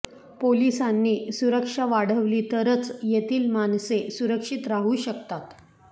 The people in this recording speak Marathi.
पोलिसांनी सुरक्षा वाढवली तरच येथील माणसे सुरक्षित राहू शकतात